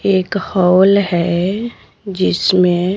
एक हॉल है जिसमें--